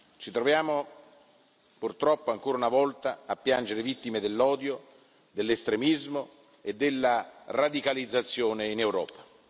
Ci troviamo purtroppo, ancora una volta, a piangere vittime dell'odio, dell'estremismo e della radicalizzazione in Europa.